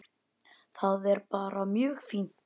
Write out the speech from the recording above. Það er bara mjög fínt.